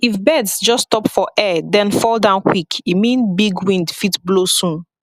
if birds just stop for air then fall down quick e mean big wind fit blow soon